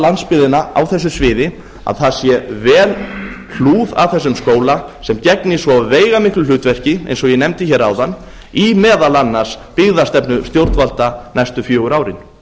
landsbyggðina á þessu sviði að það sé vel hlúð að þessum skóla sem gegnir svo veigamiklu hlutverki eins og ég nefndi hér áðan í meðal annars byggðastefnu stjórnvalda næstu fjögur